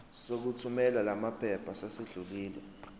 sokuthumela lamaphepha sesidlulile